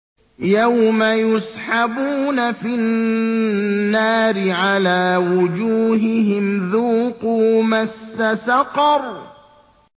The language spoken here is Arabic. يَوْمَ يُسْحَبُونَ فِي النَّارِ عَلَىٰ وُجُوهِهِمْ ذُوقُوا مَسَّ سَقَرَ